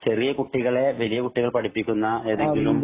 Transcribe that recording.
ചെറിയ കുട്ടികളെ വലിയ കുട്ടികള്‍ പഠിപ്പിക്കുന്ന എന്തെങ്കിലും